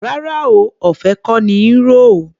Rárá o, ọ̀fẹ́ kọ́ ní í ro o.